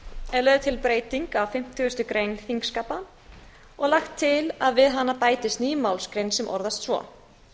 er lögð til breyting á fimmtugustu grein þingskapa og lagt til að við hana bætist ný málsgrein sem orðast svo